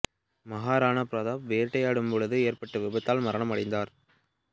மஹா ராணா பிரதாப் வேட்டையாடும் பொழுது ஏற்பட்ட விபத்தால் மரணம் அடைந்தார்